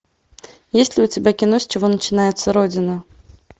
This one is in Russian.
есть ли у тебя кино с чего начинается родина